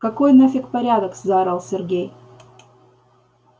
какой нафиг порядок заорал сергей